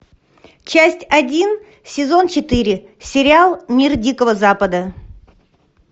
часть один сезон четыре сериал мир дикого запада